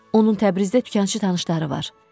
Onun Təbrizdə dükançı tanışları var.